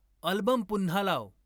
album पुन्हा लाव